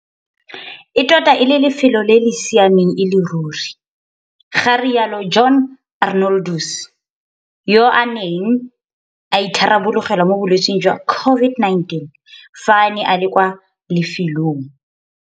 "E tota e le lefelo le le siameng e le ruri," ga rialo John Arnoldus, yo a neng a itharabologelwa mo bolwetseng jwa COVID-19 fa a ne a le kwa lefelo.